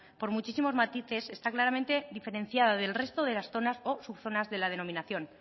por muchísimos matices está claramente diferenciada del resto de las zonas o subzonas de la denominación